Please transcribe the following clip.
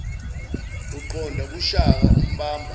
uqonda kushaka umbamba